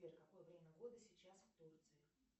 сбер какое время года сейчас в турции